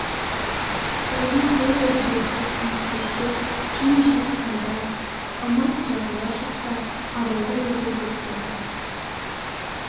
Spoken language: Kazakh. тоғжан сол бір желсіз тыныш кеште жым-жырт сайда ымырт жабылар шақта абайды өзі іздеп келді